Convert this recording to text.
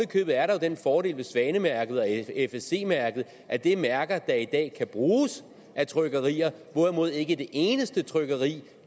i købet er der den fordel ved svanemærket og fsc mærket at det er mærker der i dag kan bruges af trykkerier hvorimod ikke et eneste trykkeri